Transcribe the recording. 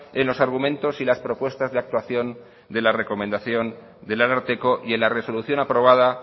en los argumentos y las propuestas de actuación de la recomendación del ararteko y en la resolución aprobada